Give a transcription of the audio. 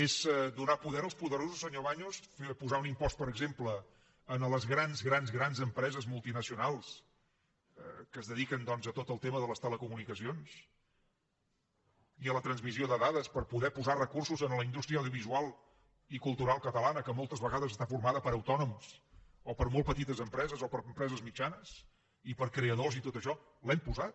és donar poder als poderosos senyor baños posar un impost per exemple a les grans grans grans empreses multinacionals que es dediquen doncs a tot el tema de les telecomunicacions i a la transmissió de dades per poder posar recursos a la indústria audiovisual i cultural catalana que moltes vegades està formada per autònoms o per molt petites empreses o per empreses mitjanes i per creadors i tot això l’hem posat